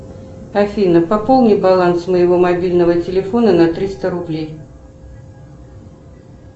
афина пополни баланс моего мобильного телефона на триста рублей